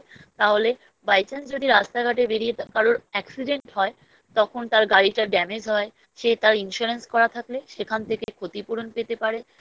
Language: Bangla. তাহলে By Chance যদি রাস্তা ঘাটে বেরিয়ে কারোর Accident হয় তখন তার গাড়িটা Damage হয় সে তার Insurance করা থাকলে সেখান থেকে ক্ষতিপূরণ পেতে পারে